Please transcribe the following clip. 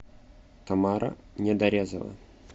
тамара недорезова